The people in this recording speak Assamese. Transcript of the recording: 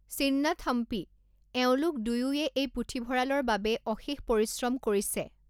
চিন্নাথম্পী, এওঁলোক দুয়োয়ে এই পুথিভঁৰালৰ বাবে অশেষ পৰিশ্ৰম কৰিছে।